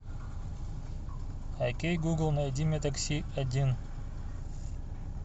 окей гугл найди мне такси один